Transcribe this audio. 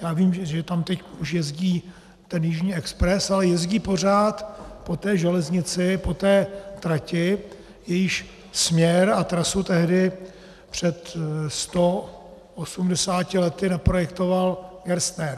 Já vím, že tam už teď jezdí ten Jižní expres, ale jezdí pořád po té železnici, po té trati, jejíž směr a trasu tehdy před 180 lety naprojektoval Gerstner.